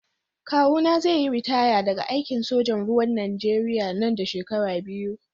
Kawuna zai yi ritaya daga aikin sojan ruwan Najeriya nan da shekaru biyu.